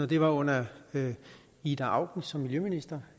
det var under ida auken som miljøminister